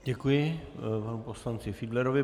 Děkuji panu poslanci Fiedlerovi.